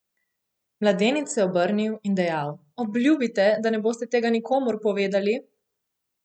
Mladenič je je obrnil in dejal: "Obljubite, da ne boste tega nikomur povedali?